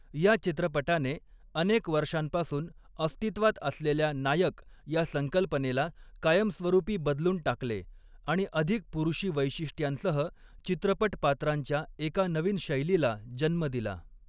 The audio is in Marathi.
या चित्रपटाने अनेक वर्षांपासून अस्तित्वात असलेल्या नायक या संकल्पनेला कायमस्वरूपी बदलून टाकले आणि अधिक पुरुषी वैशिष्ट्यांसह, चित्रपट पात्रांच्या एका नवीन शैलीला जन्म दिला.